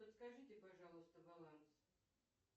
подскажите пожалуйста баланс